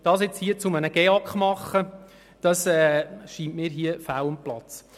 Das nun hier zu einem Gebäudeausweis der Kantone (GEAK) zu machen, scheint mir fehl am Platz.